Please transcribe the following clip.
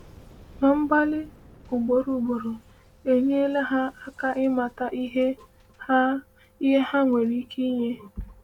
“Ma mgbalị ugboro ugboro enyela ha aka ịmata ihe ha ihe ha nwere ike inye.”